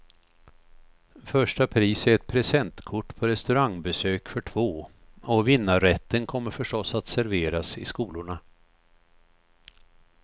Första pris är ett presentkort på restaurangbesök för två, och vinnarrätten kommer förstås att serveras i skolorna.